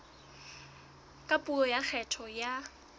ka puo ya kgetho ya